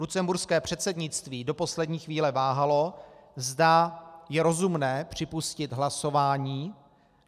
Lucemburské předsednictví do poslední chvíle váhalo, zda je rozumné připustit hlasování.